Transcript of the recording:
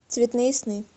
цветные сны